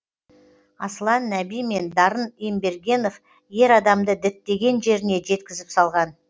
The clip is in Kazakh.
аслан нәби мен дарын ембергенов ер адамды діттеген жеріне жеткізіп салған